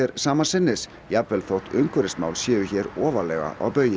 sama sinnis jafnvel þótt umhverfismál séu hér ofarlega á baugi